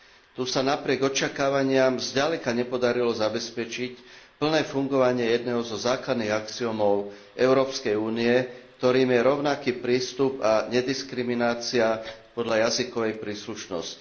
Tu sa napriek očakávaniam zďaleka nepodarilo zabezpečiť plné fungovanie jedného zo základných princípov Európskej únie, ktorým je rovnaký prístup a nediskriminácia podľa jazykovej príslušnosti.